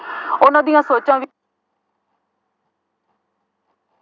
ਉਹਨਾ ਦੀਆਂ ਸੋਚਾਂ ਵਿੱਚ